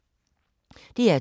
DR2